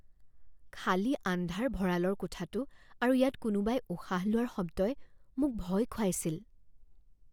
খালী আন্ধাৰ ভঁৰালৰ কোঠাটো আৰু ইয়াত কোনোবাই উশাহ লোৱাৰ শব্দই মোক ভয় খুৱাইছিল।